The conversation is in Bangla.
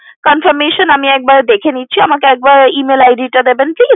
Confirmation আমি একবার দেখে নিচ্ছি আমাকে একবার Email id টা দেবেন please